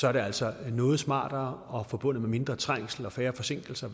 er det altså noget smartere og forbundet med mindre trængsel og færre forsinkelser